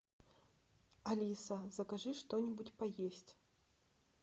алиса закажи что нибудь поесть